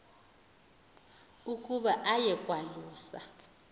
ukuba aye kwalusa